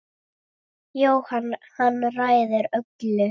Jóhann: Hann ræður öllu?